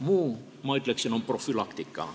Muu, ma ütleksin, on profülaktika.